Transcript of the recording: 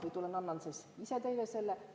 Või tulen annan selle ise teile?